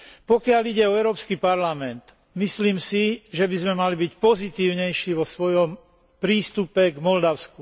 Pokiaľ ide o Európsky parlament, myslím si, že by sme mali byť pozitívnejší vo svojom prístupe k Moldavsku.